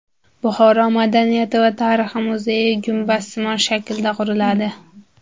Buxoro madaniyati va tarixi muzeyi gumbazsimon shaklda quriladi.